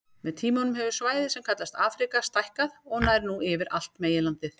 Með tímanum hefur svæðið sem kallast Afríka stækkað og nær nú yfir allt meginlandið.